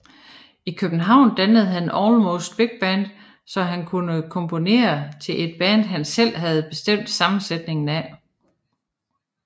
I København dannede han Almost Big Band så han kunne komponere til et band han selv havde bestemt sammensætningen af